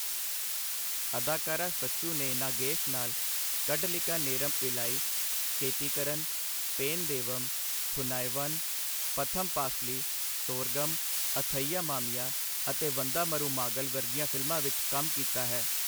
ਅਦਾਕਾਰਾ ਸੱਚੂ ਨੇ ਨਾਗੇਸ਼ ਨਾਲ 'ਕੱਢਲਿਕਾ ਨੇਰਮ ਇਲਾਈ', 'ਕੇਤੀਕਰਨ', 'ਪੇਨ ਦੇਵਮ', 'ਥੁਨਾਇਵਨ', 'ਪਥਮ ਪਾਸਲੀ', 'ਸੋਰਗਮ', 'ਅਥਈਆ ਮਾਮੀਆ' ਅਤੇ 'ਵੰਧਾ ਮਰੂਮਾਗਲ' ਵਰਗੀਆਂ ਫਿਲਮਾਂ ਵਿੱਚ ਕੰਮ ਕੀਤਾ ਹੈ।